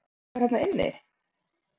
Þið voruð með allt ykkar þarna inni?